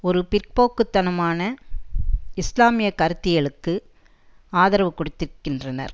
ஒரு பிற்போக்கு தனமான இஸ்லாமிய கருத்தியலுக்கு ஆதரவு கொடுத்திர்கின்றனர்